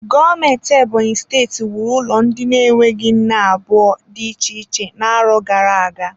Gọọmenti Ebonyi steeti wuru ụlọ ndị na-enweghị nne abụọ dị iche iche n'arọ gara aga.